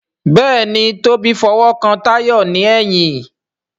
Béèni Tobi f'owo kán Tayo ní èyìn.